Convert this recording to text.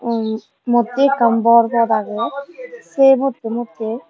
oi odde ekkan bor pod agey say modde modde.